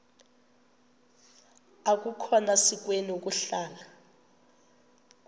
akukhona sikweni ukuhlala